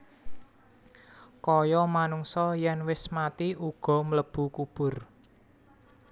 Kaya manungsa yen wis mati uga mlebu kubur